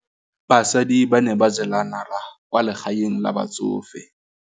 Basadi ba ne ba jela nala kwaa legaeng la batsofe.